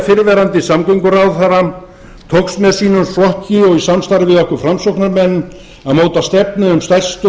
fyrrverandi samgönguráðherra tókst með sínum flokki og í samstarfi við okkur framsóknarmenn að móta stefnu um stærstu og